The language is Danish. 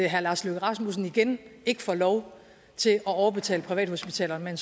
herre lars løkke rasmussen igen ikke får lov til at overbetale privathospitalerne